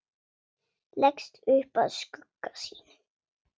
Leggst upp að skugga sínum.